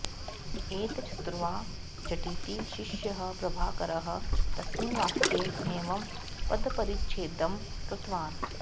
एतच्छ्रुत्वा झटिति शिष्यः प्रभाकरः तस्मिन् वाक्ये एवं पदपरिच्छेदं कृतवान्